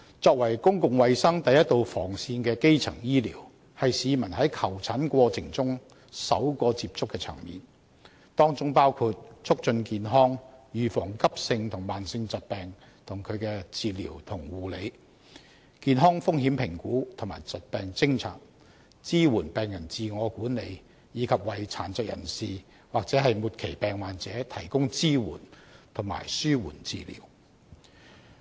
作為公共衞生第一道防線的基層醫療，是市民在求診過程中首個接觸的層面，當中包括促進健康、預防急性和慢性疾病及其治療和護理、健康風險評估及疾病偵察、支援病人自我管理，以及為殘疾人士或末期病患者提供支援和紓緩治療。